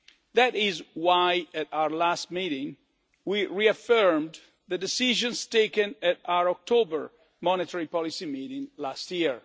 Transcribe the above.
That is why at our last meeting we reaffirmed the decisions taken at our October monetary policy meeting last year.